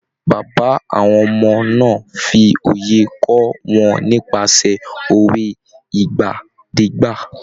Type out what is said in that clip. Bàbá àwọn ọmọ náà ń fi òye kọ́ wọn nípasẹ̀ òwe ìgbàdégbà.